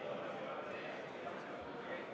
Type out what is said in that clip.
Kõnesoove ei ole.